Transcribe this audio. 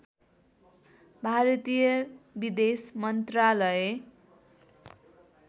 भारतीय विदेश मन्त्रालय